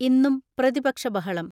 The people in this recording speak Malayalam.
ഇന്നും പ്രതിപക്ഷ ബഹളം.